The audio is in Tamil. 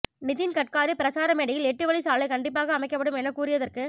நிதின் கட்காரி பிரச்சார மேடையில் எட்டு வழி சாலை கண்டிப்பாக அமைக்கப்படும் என கூறியதற்கு